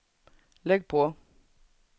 lägg på